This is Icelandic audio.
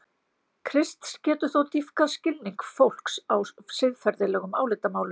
Krists getur þó dýpkað skilning fólks á siðferðilegum álitamálum.